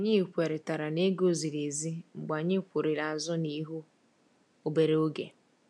Anyị kwerị tara n'ego ziri ezi mgbe anyị kwurịrị azụ na ihu obere oge.